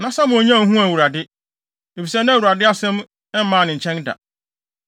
Na Samuel nnya nhuu Awurade, efisɛ na Awurade asɛm mmaa ne nkyɛn da.